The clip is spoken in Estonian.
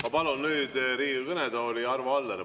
Ma palun nüüd Riigikogu kõnetooli Arvo Alleri.